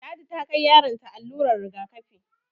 Ladi ta kai yaron ta allurar rigakafi